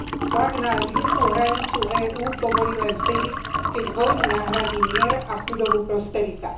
Tlak na južnú hranicu EÚ povolí len vtedy, keď vojnu nahradí mier a chudobu prosperita.